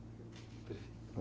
Perfeito.